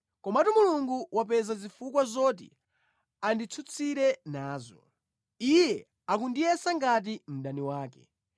Komatu Mulungu wapeza zifukwa zoti anditsutsire nazo; Iye akundiyesa ngati mdani wake.